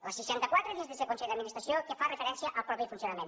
la seixanta quatre dins d’este consell d’administració que fa referència al mateix funcionament